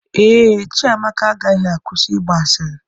Ee, Chiamaka agaghị akwụsị ịgba asịrị.